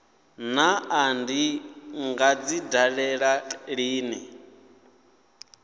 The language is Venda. naa ndi nga dzi dalela lini